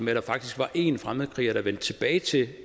var en fremmedkriger der vendte tilbage til